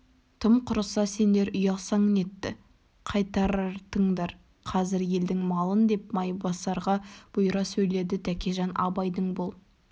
тым құрса сендер ұялсаң нетті қайтартыңдар қазір елдің малын деп майбасарға бұйыра сөйледі тәкежан абайдың бұл